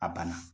A banna